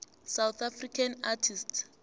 south african artists